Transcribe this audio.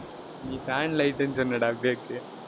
நீ fan, light ன்னு சொன்னேடா பேக்கு